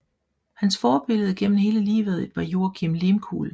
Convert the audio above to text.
Hans forbillede gennem hele livet var Joakim Lehmkuhl